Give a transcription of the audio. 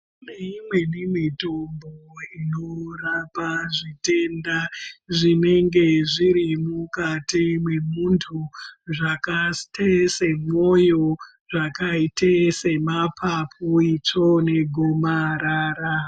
Tineimweni mitombo inorapa zvitenda zvinge zvirimukati mwemuntu zvakaite semwoyo zvakaite semapapu itsvonegomarara.